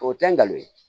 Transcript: O tɛ ngalon ye